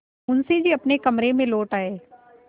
मुंशी जी अपने कमरे में लौट आये